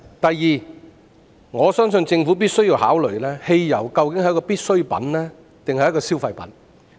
第二，我相信政府必須考慮，究竟汽油是必需品還是消費品？